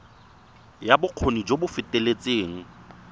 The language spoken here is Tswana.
ya bokgoni jo bo feteletseng